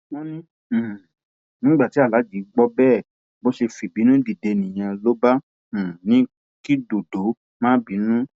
wọn ní um nígbà tí aláàjì gbọ bẹẹ bó ṣe fìbínú dìde nìyẹn ló bá um ní kí dọdọ má bínú